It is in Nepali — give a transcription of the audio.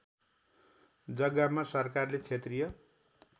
जग्गामा सरकारले क्षेत्रीय